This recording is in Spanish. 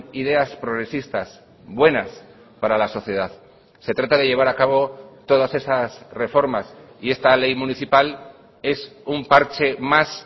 ideas progresistas buenas para la sociedad se trata de llevar a cabo todas esas reformas y esta ley municipal es un parche más